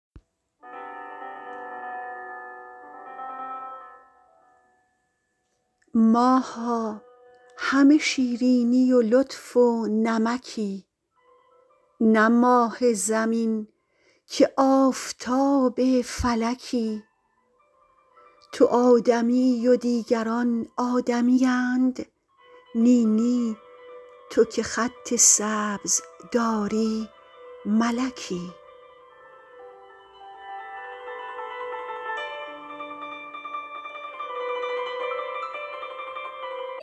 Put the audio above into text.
ماها همه شیرینی و لطف و نمکی نه ماه زمین که آفتاب فلکی تو آدمیی و دیگران آدمیند نی نی تو که خط سبز داری ملکی